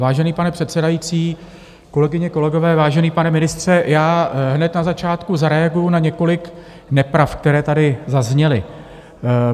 Vážený pane předsedající, kolegyně, kolegové, vážený pane ministře, já hned na začátku zareaguji na několik nepravd, které tady zazněly.